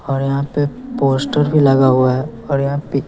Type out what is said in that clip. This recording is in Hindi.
और यहां पे पोस्टर भी लगा हुआ है और यहां पे--